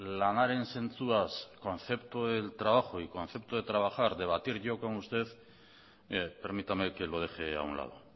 lanaren zentzuaz concepto del trabajo y concepto de trabajar debatir yo con usted permítame que lo deje a un lado